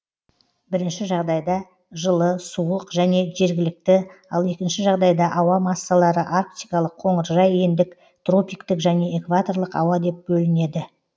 бірінші жағдайда жылы суық және жергілікті ал екінші жағдайда ауа массалары арктикалық қоңыржай ендік тропиктік және экваторлық ауа деп бөлінеді